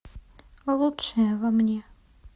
лучшее во мне